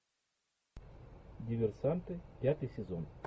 диверсанты пятый сезон